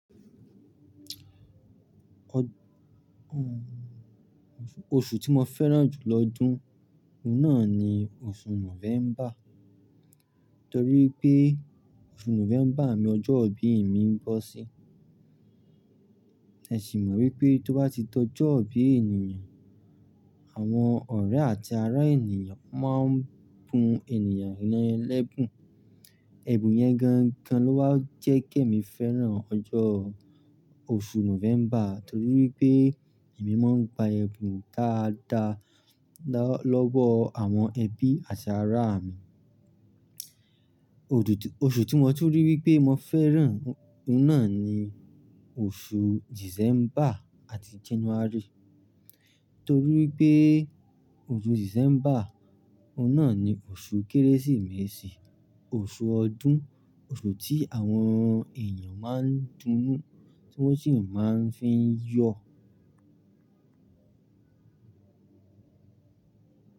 Oṣù tí mo fẹ́ràn jù lọ́dún, òun náà ni oṣù November, torí pé oṣù November ni ọjọ́ ìbí mi ń bọ́ sí. Ẹ ṣì mọ̀ wípé tó bá ti dọ́jọbí ènìyàn, àwọn ọ̀rẹ́ àti ará ènìyàn máa ń bu ẹnìyàn yen ẹlẹ́bùn. Ẹ̀bùn yẹn gangan ló wá jẹ́ kí èmi fẹ́ràn ọjọ́ oṣù November torí pé èmi máa ń gba ẹ̀bùn dáadáa lọ́wọ́ àwọn ẹbí àti ará mi. Oṣù tí mo tún ríi wípé mo fẹ́ràn, òun náà ni oṣù December àti January torí pé oṣù December, òun náà ni oṣù Kérésìmesì, oṣù ọdún, oṣù tí àwọn èyàn máa ń dunnu, tí wọ́n sì máa ń fi yọ̀